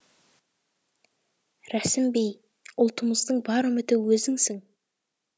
рәсім бей ұлтымыздың бар үміті өзіңсің